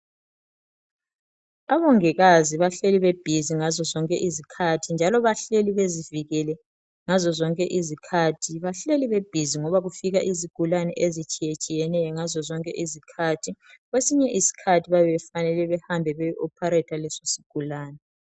Abongikazi bahleli bebhizi ngazozonke izikhathi njalo bahleli bezivikele ngazozonke izikhathi. Bahleli bebhizi ngoba kufika izigulane ezitshiyetshiyeneyo ngazozonke izikhathi . Kwesinye isikhathi bayabe befanele behambe beyo opharetha lesosigulane.